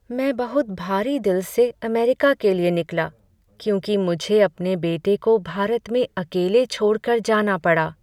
मैं बहुत भारी दिल से अमेरिका के लिए निकला क्योंकि मुझे अपने बेटे को भारत में अकेले छोड़ कर जाना पड़ा।